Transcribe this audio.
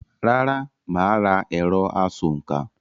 Rárá, mà á ra “ẹ̀rọ- asòǹkà”.